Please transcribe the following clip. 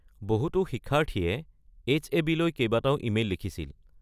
বহুতো শিক্ষাৰ্থীয়ে এইচ.এ.বি.-লৈ কেইবাটাও ইমেইল লিখিছিল।